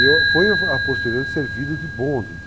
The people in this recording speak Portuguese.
E eu fui, a posterior, servido de bonde.